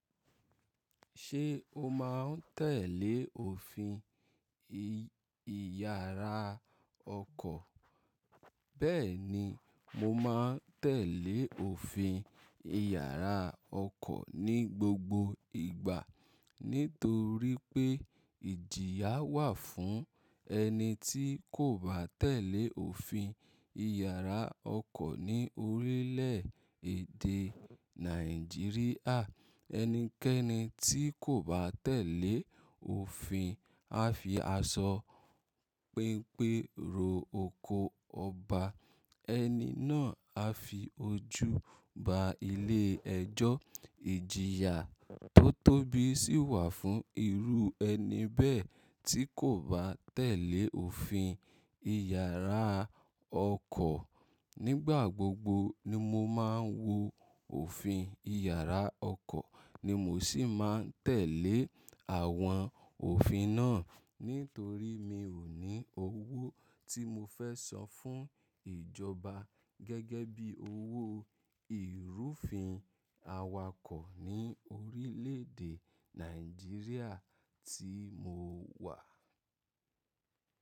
Ṣé o máa ń tẹ̀lé òfin ìyàrá ọkọ̀? Bẹ́ẹ̀ni, mo máa ń tẹ̀lé òfin ìyàrá ọkọ̀ ní gbogbo ìgbà. Nítorí pé ìjìyà wà fún ẹni tí kò bá tẹ̀lé òfin ìyàrá ọkọ̀ ní orílẹ̀ èdè Nàìjíríà. Ẹnikẹ́ni tí kò bá tẹ̀lé òfin, a fi aṣọ péńpé ro oko ọba. Ẹni náà a fi ojú ba ilé ẹjọ́. Ìjìyà tó tóbi sì wà fún irú ẹni bẹ́ẹ̀ tí kò bá tẹ̀lé òfin ìyàrá ọkọ̀. Nígbà gbogbo ni mo máa ń wo òfin ìyàrá ọkọ̀ ni mo sì máa ń tẹ̀lé àwọn òfin náà. Nítorí mi ò ní owó tí mo fẹ́ san fún ìjọba gẹ́gẹ́ bí owó irúfin awakọ̀ ní orílẹ̀ èdè Nàìjíríà tí mo wà.